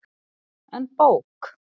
En bók?